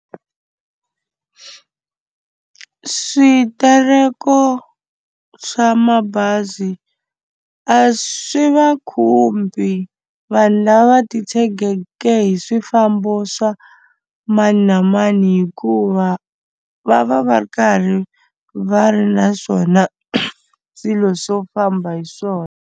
Switereko swa mabazi a swi va khumbi vanhu lava titshegeke hi swifambo swa mani na mani hikuva va va va ri karhi va ri na swona swilo swo famba hi swona.